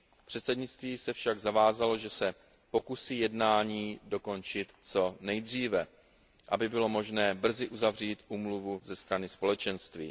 Předsednictví se však zavázalo, že se pokusí jednání dokončit co nejdříve, aby bylo možné brzy uzavřít úmluvu ze strany Společenství.